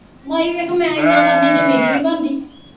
ਮਾਈ ਵੇਖ ਮੈਂ ਇੰਨਾ ਕਰਨੀ ਤੇ ਮੇਰੀ ਨਹੀਂ ਬਣਦੀ।